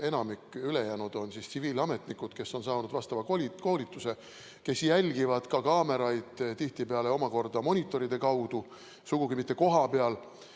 Enamik, ülejäänud, on tsiviilametnikud, kes on saanud koolituse, kes jälgivad kaameraid tihtipeale omakorda monitoride kaudu, sugugi mitte kohapeal.